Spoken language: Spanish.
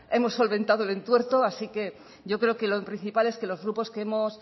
hemos solventado el entuerto así que yo creo que lo principal es que los grupos que hemos